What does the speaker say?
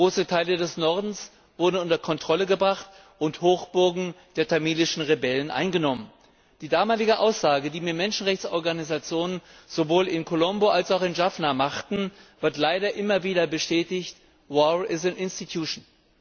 Große Teile des Nordens wurden unter Kontrolle gebracht und Hochburgen der tamilischen Rebellen eingenommen. Die damalige Aussage, die mir Menschenrechtsorganisationen sowohl in Colombo als auch in Jaffna machten, wird leider immer wieder bestätigt War is an institution.